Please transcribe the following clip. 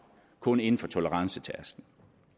kun af en for tolerancetærsklen